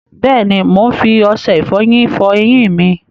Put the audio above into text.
Bẹ́ẹ̀ni, mo máa ń fi ọṣẹ ìfọyín fọ eyín mi.